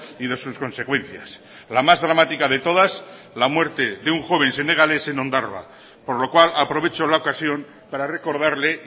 y de sus consecuencias la más dramática de todas la muerte de un joven senegalés en ondarroa por lo cual aprovecho la ocasión para recordarle